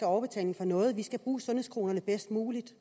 overbetaling for noget vi skal bruge sundhedskronerne bedst muligt